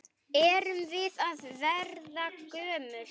Erum við að verða gömul?